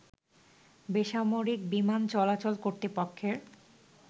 বেসামরিক বিমান চলাচল কর্তৃপক্ষের